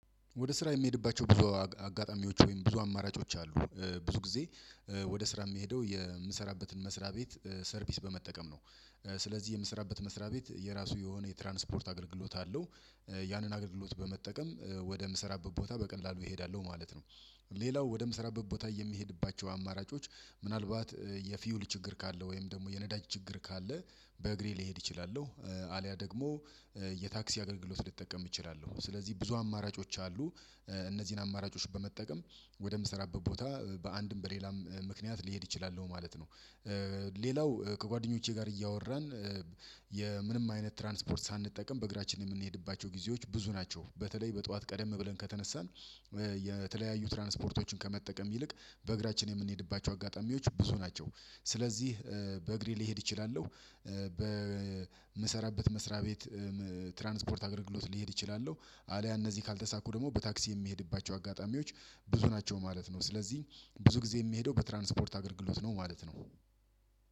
ወደ ስራ የምሄድባቸው ብዙ አጋጣሚዎች ወይም ብዙ አማራጮች አሉ። ብዙ ጊዜ ወደ ስራ የምሄደው የምሰራበትን መስሪያ ቤት ሰርቪስ በመጠቀም ነው። ስለዚህ የምሰራበት መስሪያ ቤት የራሱ የሆነ የትራንስፖርት አገልግሎት አለው። ያንን አገልግሎት በመጠቀም ወደምሰራበት ቦታ በቀላሉ እሄዳለሁ ማለት ነው። ሌላው ወደምሰራበት ቦታ የምሄድባቸው አማራጮች ምናልባት የፊውል ችግር ካለ ወይም ደግሞ የነዳጅ ችግር ካለ። በእግሬ ልሄድ እችላለሁ አልያ ደግሞ የታክሲ አገልግሎት ልጠቀም እችላለሁ ስለዚህ ብዙ አማራጮች አሉ። እነዚህን አማራጮች በመጠቀም ወደምሰራበት ቦታ በአንድም በሌላም ምክንያት ልሄድ አችላለሁ ማለት ነው። ሌላው ከጓደኞቼ ጋር እያወራን የምንም አይነት ትራንስፖርት ሳንጠቀም በእግራችን የምንሄድባቸው ጊዜዎች ብዙ ናቸው። በተለይ በጧት ቀደም ብለን ከተነሳን የተለያዩ ትራንስፖርቶችን ከመጠቀም ይልቅ በእግራችን የምንሄድባቸው አጋጣሚዎች ብዙ ናቸው። ስለዚህ በእግሬ ልሄድ እችላለሁ። በምሰራበት መስሪያ ቤት ትራንስፖርት አገልግሎት ልሄድ እችላለሁ። አሊያ እነዚህ ካልተሳኩ ደግሞ በታክሲ የምሄድባቸው አጋጣሚዎች ብዙ ናቸው ማለት ነው። ስለዚህ ብዙ ጊዜ የምሄደው በትራንስፖርት አገልግሎት ነው ማለት ነው።